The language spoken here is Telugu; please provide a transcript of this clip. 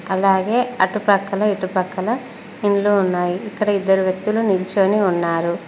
అలాగే అటుపక్కల ఇటుపక్కల ఇండ్లు ఉన్నాయి ఇక్కడ ఇద్దరు వ్యక్తులు నిల్చొని ఉన్నారు.